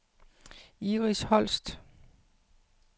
Iris Holst